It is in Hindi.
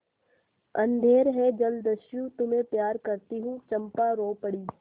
अंधेर है जलदस्यु तुम्हें प्यार करती हूँ चंपा रो पड़ी